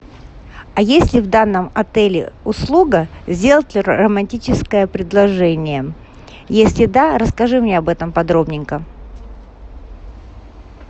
а есть ли в данном отеле услуга сделать романтическое предложение если да расскажи мне об этом подробненько